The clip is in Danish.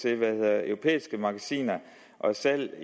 europæiske magasiner og salg af